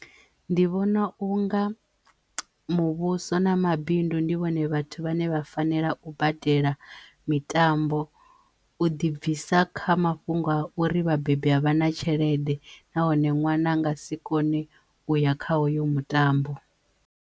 Ndi vhona u nga muvhuso na mabindu ndi vhone vhathu vhane vha fanela u badela mitambo u ḓibvisa kha mafhungo a uri vhabebi a vhana tshelede nahone nwana nga si kone uya kha hoyo mutambo.